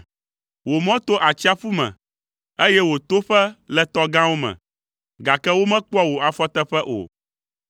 Wò mɔ to atsiaƒu me, eye wò toƒe le tɔ gãwo me, gake womekpɔa wò afɔteƒe o.